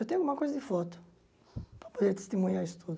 Eu tenho alguma coisa de foto para poder testemunhar isso tudo.